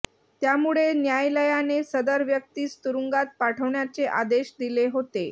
त्यामुळे न्यायालयाने सदर व्यक्तीस तुरुंगात पाठवण्याचे आदेश दिले होते